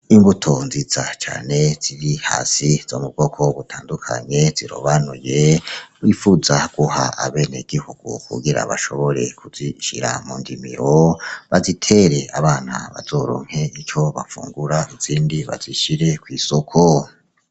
Imbuto nziza cane ziri hasi zo mubwoko w gutandukanye zirobanuye wifuza guha abene gihugu kugira bashobore kuzishira mu ndimiwo bazitere abana bazoronke ico bafungura nzindi bazishire kw'isoko.